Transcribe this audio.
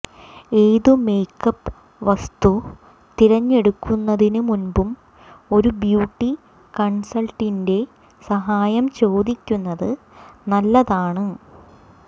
ഏതു മേക്കപ്പ് വസ്തു തിരഞ്ഞെടുക്കുന്നതിനു മുൻപും ഒരു ബ്യൂട്ടി കൺസൽറ്റന്റിന്റെ സഹായം ചോദിക്കുന്നത് നല്ലതാണ്